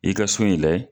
I ka so in layɛ